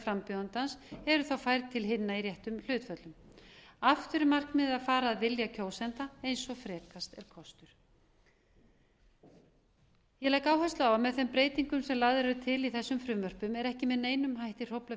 frambjóðandans eru þá færð til hinna í réttum hlutföllum aftur er markmiðið að fara að vilja kjósenda eins og frekast er kostur ég legg áherslu á að með þeim breytingum sem lagðar eru til í þessum frumvörpum er ekki með neinum hætti hróflað